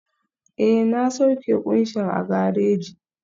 Ee, na sauke kunshin a gareji